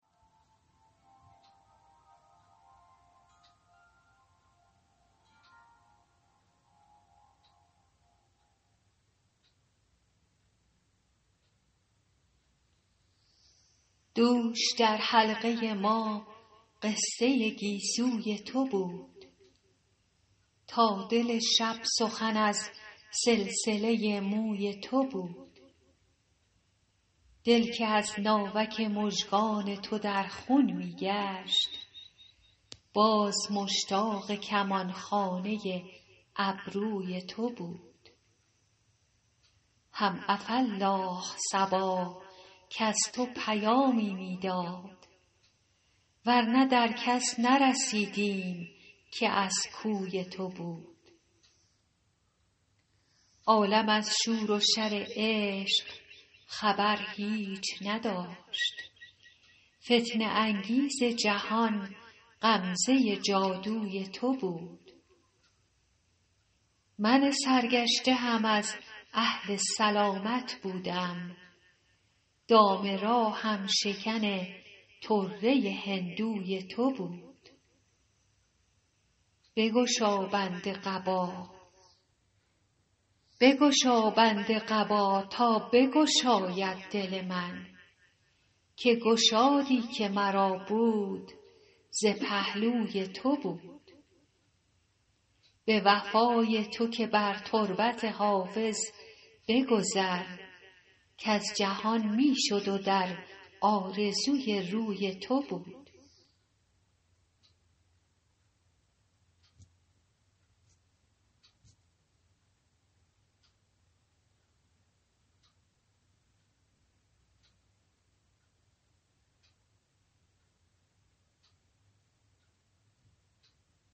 دوش در حلقه ما قصه گیسوی تو بود تا دل شب سخن از سلسله موی تو بود دل که از ناوک مژگان تو در خون می گشت باز مشتاق کمان خانه ابروی تو بود هم عفاالله صبا کز تو پیامی می داد ور نه در کس نرسیدیم که از کوی تو بود عالم از شور و شر عشق خبر هیچ نداشت فتنه انگیز جهان غمزه جادوی تو بود من سرگشته هم از اهل سلامت بودم دام راهم شکن طره هندوی تو بود بگشا بند قبا تا بگشاید دل من که گشادی که مرا بود ز پهلوی تو بود به وفای تو که بر تربت حافظ بگذر کز جهان می شد و در آرزوی روی تو بود